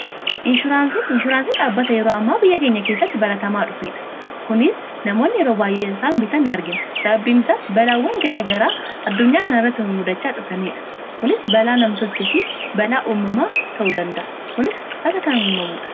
Inshuraansiin dhaabbata yeroo ammaa biyya keenya keessatti baballataa dhufeedha. Kunis faayidaa guddaa qaba.